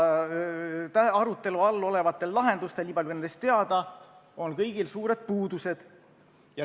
Arutelu all olevatel lahendustel – niipalju, kui nendest on teada – on kõigil suured puudused.